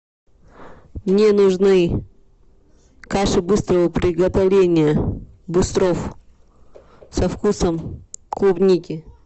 мне нужны каша быстрого приготовления быстров со вкусом клубники